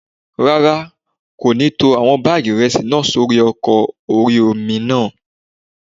Rárá, kò ní tó àwọn báàgì ìrẹsì náà sórí ọkọ̀ orí-omi náà